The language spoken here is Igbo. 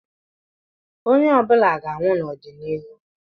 Onye ọ bụla ga-anwụ n'ọdịnihu.